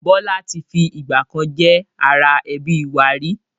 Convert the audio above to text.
Bọlá tí fi ìgbàkan jẹ́ ara ẹbí wá rí